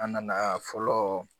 An nana fɔlɔ